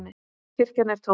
Kirkjan er tóm.